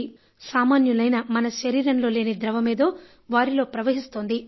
సామాన్యులైన మన శరీరంలోని ద్రవమేదో వారిలో ప్రవహిస్తోంది